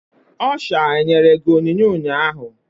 Ọsha enyere gị onyinye ụnyaahụ?